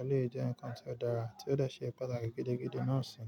éléyì jẹ́ nǹkan tí ó dára tí ó dà ṣe pàtàkì gidigidi náà sì.